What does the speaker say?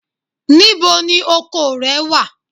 Níbo ni oko rẹ wà?